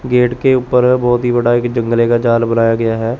Gate के ऊपर बहोत ही बड़ा एक जंगले का जाल बनाया गया है।